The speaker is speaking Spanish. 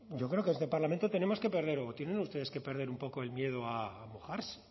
yo creo que en este parlamento tenemos que perder o tienen ustedes que perder un poco el miedo a mojarse